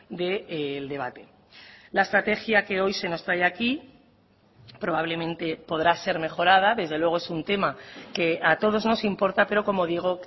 del debate la estrategia que hoy se nos trae aquí probablemente podrá ser mejorada desde luego es un tema que a todos nos importa pero como digo